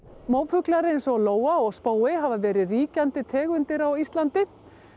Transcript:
mófuglar eins og lóa og hafa verið ríkjandi tegundir á Íslandi